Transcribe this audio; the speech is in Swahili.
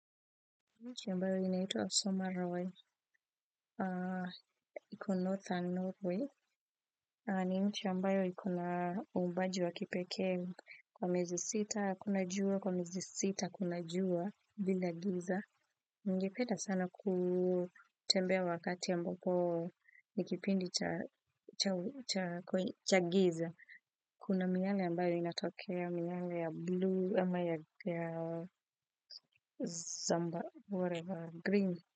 Nchi ambayo inaito Asomaroy, iku Northern Norway, ni nchi ambayo ikuna umbaju wa kipeke kwa mezi sita, kuna juwa, kwa mezi sita, kuna juwa, bila giza. Ningepeda sana kutembea wakati ambapo ni kipindi cha giza. Kuna miyale ambayo inatokea miyale ya blue ama ya zambarau, whatever, green.